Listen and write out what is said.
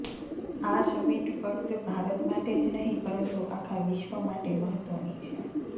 આ સમિટ ફક્ત ભારત માટે જ નહીં પરંતુ આખા વિશ્વ માટે મહત્વની છે